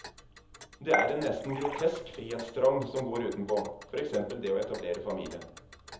Det er en nesten grotesk frihetstrang som går utenpå, for eksempel det å etablere familie.